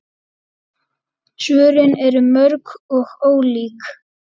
Svörin eru mörg og ólík.